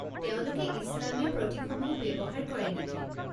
তেওঁলোকে ইছলামীয় প্ৰতীকসমূহো ব্যৱহাৰ কৰে নেকি?